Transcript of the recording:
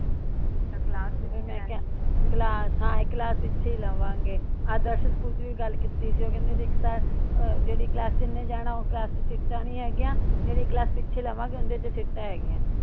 Class ਹਾਂ ਇਕ class ਪਿੱਛੇ ਈ ਲਵਾਂਗੇ ਆਦਰਸ਼ ਸਕੂਲ ਚ ਵੀ ਗੱਲ ਕੀਤੀ ਸੀ ਉਹ ਕਹਿੰਦੇ ਸੀ ਇਕ ਤਾ ਆ ਜਿਹੜੀ ਕਲਾਸ ਚ ਇਹਨੇ ਜਾਣਾ ਉਹ ਕਲਾਸ ਚ ਸੀਟਾਂ ਨਹੀਂ ਹੇਗੀਆਂ। ਜਿਹੜੀ ਕਲਾਸ ਪਿੱਛੇ ਲਵਾਂਗੇ ਓਦੇ ਚ ਸੀਟਾਂ ਹੇਗੀਆਂ।